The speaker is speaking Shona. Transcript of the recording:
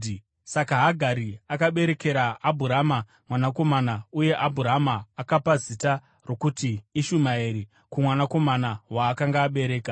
Saka Hagari akaberekera Abhurama mwanakomana, uye Abhurama akapa zita rokuti Ishumaeri kumwanakomana waakanga abereka.